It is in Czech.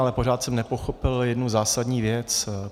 Ale pořád jsem nepochopil jednu zásadní věc.